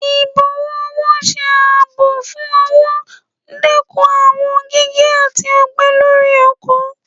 Ibọwọ ọwọ ṣe aabọ fún ọwọ, dekún awọn gige ati ọgbẹ lori oko.